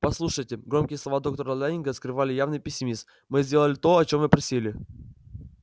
послушайте громкие слова доктора лэннинга скрывали явный пессимизм мы сделали то о чем вы просили